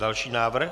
Další návrh?